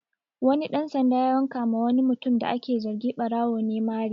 Wani ɗan sanda ya wanka ma wani mutum da ake zargi ɓarawo ne mari